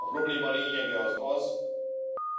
A probléma lényege az,